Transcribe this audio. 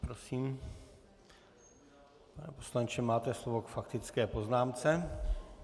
Prosím, pane poslanče, máte slovo k faktické poznámce.